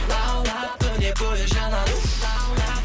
лаулап күні бойы жанады уф лаулап